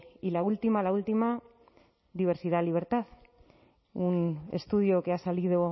y la última la última diversidad libertad un estudio que ha salido